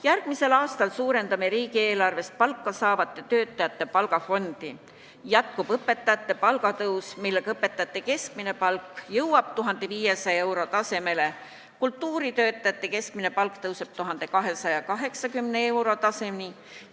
Järgmisel aastal suurendame riigieelarvest palka saavate töötajate palgafondi, jätkub õpetajate palga tõus, millega õpetajate keskmine palk jõuab 1500 euro tasemele, kultuuritöötajate keskmine palk tõuseb 1280 euro tasemeni.